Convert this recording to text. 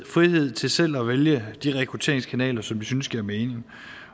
frihed til selv at vælge de rekrutteringskanaler som de synes giver mening